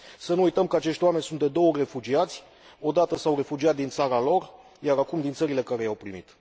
Să nu uităm că acești oameni sunt de două ori refugiați o dată s au refugiat din țara lor, iar acum din țările care i au primit.